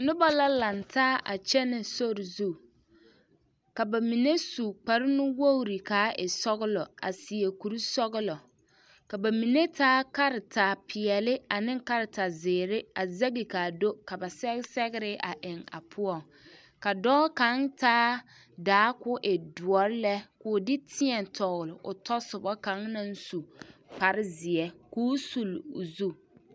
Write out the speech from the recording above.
Noba la laŋtaa a kyɛnɛ sori zu ka ba mine su kparenuwogre ka a e sɔglɔ a seɛ kurisɔglɔ ka ba mine taa karetapeɛlle ane karetazeere a zɛge ka a do ka ba sɛge sɛgre eŋ a poɔŋ ka dɔɔ kaŋ taa daa ka o e doɔre lɛ ka o de teɛ tɔgle o tɔsoba kaŋ naŋ su kparezeɛ ka o sulle o zu.